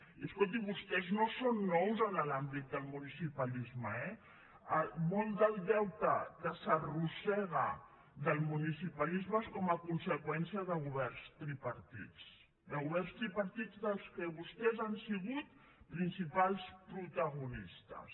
i escolti vostès no són nous en l’àmbit del municipalisme eh molt del deute que s’arrossega del municipalisme és com a conseqüència de governs tripartits de governs tripartits dels quals vostès han sigut principals protagonistes